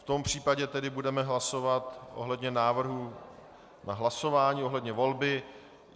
V tom případě tedy budeme hlasovat ohledně návrhu na hlasování ohledně volby.